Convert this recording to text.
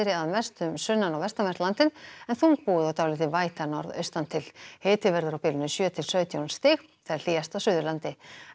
að mestu um sunnan og vestanvert landið en þungbúið og dálítil væta norðaustan til hiti verður á bilinu sjö til sautján stig hlýjast á Suðurlandi